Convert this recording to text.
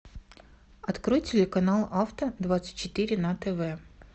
открой телеканал авто двадцать четыре на тв